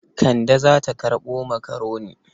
Kande za ta karɓo makaroni.